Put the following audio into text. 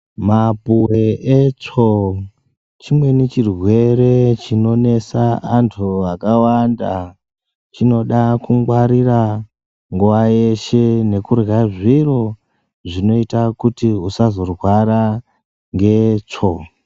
Mapuwe etsvo chimweni chirwere chinonetsa anhu akawanda chinoda kungwarira nguwa yeshe ngekurya zviro zvinoita kuti usazorwara ngetsvo.